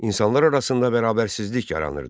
İnsanlar arasında bərabərsizlik yaranırdı.